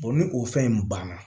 ni o fɛn in banna